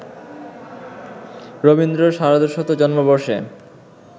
রবীন্দ্র সার্ধশত জন্মবর্ষে